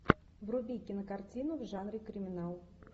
вруби кинокартину в жанре криминал